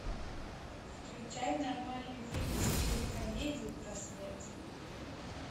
включай нормальный фильм в стиле комедии про смерть